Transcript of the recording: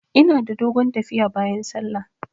Ina da dogon tafiya bayan sallah.